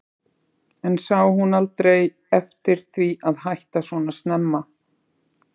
En sá hún aldrei eftir því að hætta svona snemma?